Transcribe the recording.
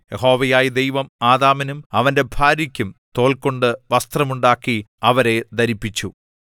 യഹോവയായ ദൈവം ആദാമിനും അവന്റെ ഭാര്യയ്ക്കും തോൽകൊണ്ട് വസ്ത്രം ഉണ്ടാക്കി അവരെ ധരിപ്പിച്ചു